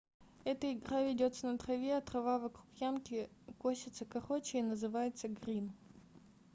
эта игра ведётся на траве а трава вокруг ямки косится короче и называется грин